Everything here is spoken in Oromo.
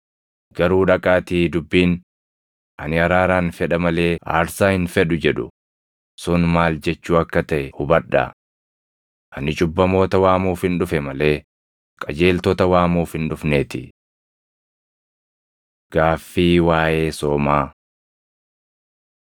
Garuu dhaqaatii dubbiin, ‘Ani araaran fedha malee aarsaa hin fedhu’ + 9:13 \+xt Hos 6:6\+xt* jedhu sun maal jechuu akka taʼe hubadhaa. Ani cubbamoota waamuufin dhufe malee qajeeltota waamuuf hin dhufneetii.” Gaaffii Waaʼee Soomaa 9:14‑17 kwf – Mar 2:18‑22; Luq 5:33‑39